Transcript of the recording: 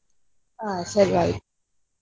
ಆಯ್ತ್ ಸರಿ ಆಯ್ತ್.